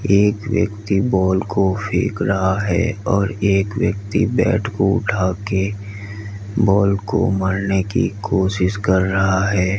एक व्यक्ति बॉल को फेंक रहा है और एक व्यक्ति बैट को उठा के बाल को मारने की कोशिश कर रहा है।